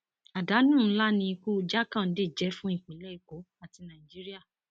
àdánù ńlá ni ikú jákándé jẹ fún ìpínlẹ èkó àti nàìjíríà